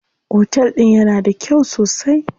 Otel din yana da kyau sosai.